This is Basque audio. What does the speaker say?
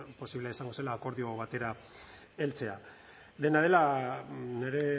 posible izango zela akordio batera heltzea dena dela nire